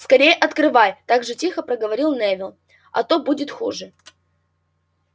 скорее открывай так же тихо проговорил невилл а то будет хуже